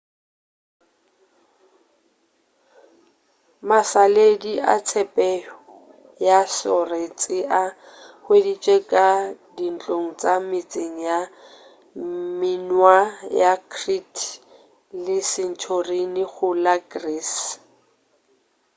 mašaledi a tshepetšo ya soretše a hweditšwe ka dintlong tša metseng ya minoan ya crete le santorini go la greece